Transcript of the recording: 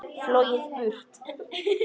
Flogið burt.